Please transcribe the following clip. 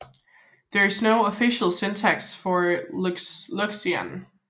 There is no official syntax for Loxian